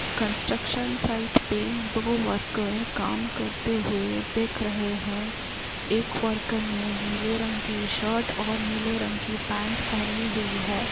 Construction site पे दो worker काम करते हुए दिख रहे हैं। एक वर्कर ने नीले रंग की शर्ट और नीले रंग की पैंट पहनी हुई है।